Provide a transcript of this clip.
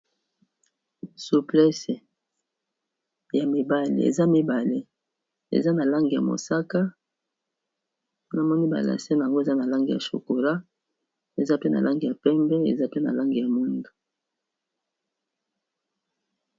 Suplese ya mibale eza mibale eza na langi ya mosaka namoni ba lase nango eza na langi ya chokola eza pe na langi ya pembe eza pe na langi ya mwindu.